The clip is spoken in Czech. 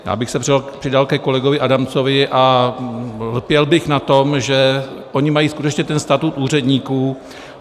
Já bych se přidal ke kolegovi Adamcovi a lpěl bych na tom, že oni mají skutečně ten statut úředníků.